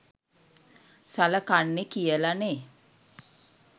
සලකන්නේ කියලා නෙහ්?